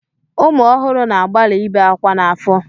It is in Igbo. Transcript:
Ụmụ ọhụrụ na-agbalị ị be ákwá n'afọ.